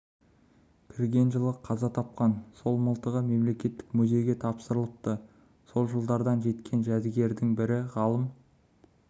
кірген жылы қаза тапқан соң мылтығы мемлекеттік музейге тапсырылыпты сол жылдардан жеткен жәдігердің бірі ғалым